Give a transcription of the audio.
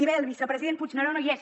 i bé el vicepresident puigneró no hi és